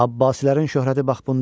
Abbasilərin şöhrəti bax bundadır.